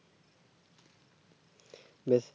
বেশ